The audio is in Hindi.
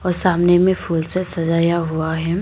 सामने में फूल से सजाया हुआ है।